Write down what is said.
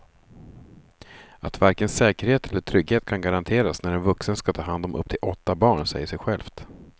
Att varken säkerhet eller trygghet kan garanteras när en vuxen ska ta hand om upp till åtta barn säger sig självt.